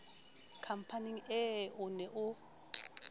khampaneng ee o ne o